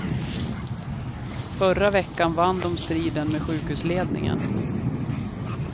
Förra veckan vann de striden med sjukhusledningen.